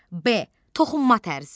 B. toxunma tərzi.